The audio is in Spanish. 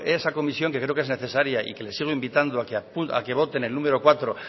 esa comisión que creo que es necesaria y que le sigo invitando a que vote en el número cuatro